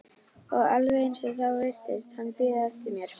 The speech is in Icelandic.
Og alveg eins og þá virtist hann bíða eftir mér.